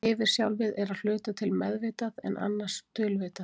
Yfirsjálfið er að hluta til meðvitað, en annars dulvitað.